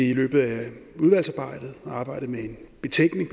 i løbet af udvalgsarbejdet arbejde med en betænkning